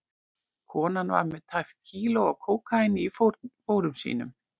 Konan var með tæpt kíló af kókaíni í fórum sínum.